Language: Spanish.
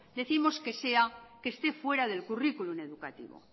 decimos que esté fuera del currículum educativo